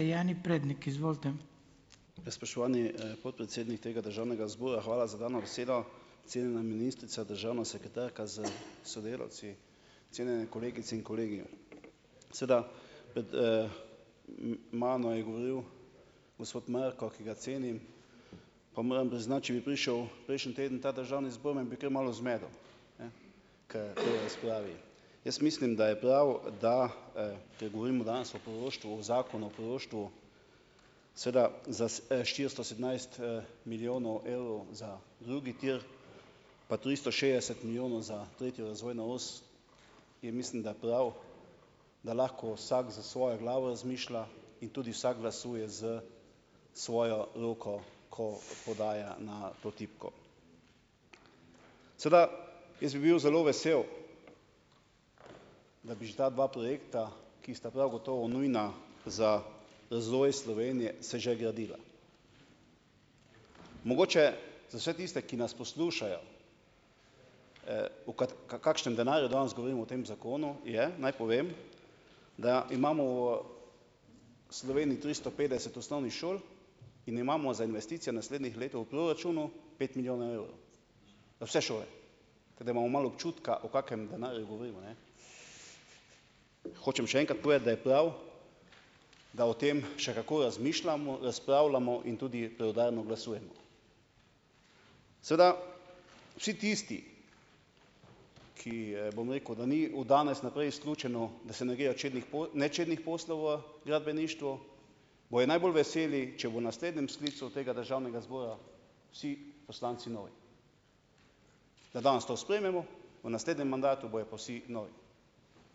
... izvolite. Ja, spoštovani podpredsednik tega Državnega zbora. Hvala za dano besedo. Cenjena ministrica, državna sekretarka s sodelavci. Cenjene kolegice in kolegi. Seveda mano je govoril gospod Mrko, ki ga cenim, pa moram priznati, če bi prišel prejšnji teden v ta Državni zbor, me bi kar malo zmedel. Ne. Ker v tej razpravi . Jaz mislim, da je prav, da ker govorimo danes o poroštvu, o Zakonu o poroštvu, seveda za štiristo sedemnajst milijonov evrov za drugi tir, pa tristo šestdeset milijonov za tretjo razvojno os, je mislim, da prav, da lahko vsak s svojo glavo razmišlja in tudi vsak glasuje s svojo logiko, ko podaja na to tipko. Seveda, jaz bi bil zelo vesel, da bi že ta dva projekta, ki prav gotovo nujna za razvoj Slovenije, se že gradila. Mogoče za vse tiste, ki nas poslušajo, v kakšnem denarju danes govorimo o tem zakonu, je, naj povem, da imamo v Sloveniji tristo petdeset osnovnih šol in imamo za investicijo naslednjih let v proračunu pet milijonov evrov. Za vse šole. Pa da imamo malo občutka o kakem denarju govorimo, ne. Hočem še enkrat povedati, da je prav, da o tem še kako razmišljamo, da razpravljamo in tudi preudarno glasujemo. Seveda, vsi tisti, ki bom rekel, ni od danes naprej izključeno, da se čednih nečednih poslov gradbeništvu bojo najbolj veseli, če bo v naslednjem sklicu tega Državnega zbora vsi poslanci novi. Da danes to sprejmemo, v naslednjem mandatu bojo pa vsi novi.